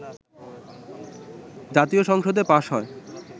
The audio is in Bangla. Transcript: জাতীয় সংসদে পাস হয়